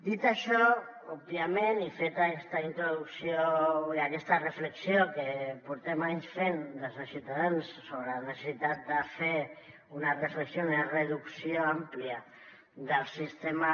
dit això òbviament i feta aquesta introducció i aquesta reflexió que portem anys fent des de ciutadans sobre la necessitat de fer una reflexió una reducció àmplia del sistema